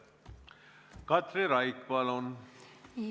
Katri Raik, palun!